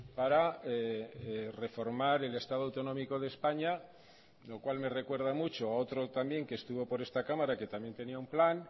para reformar el estado autonómico de españa lo cual me recuerda mucho a otro también que estuvo por esta cámara que también tenía un plan